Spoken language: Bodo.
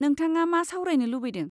नोंथाङा मा सावरायनो लुबैदों।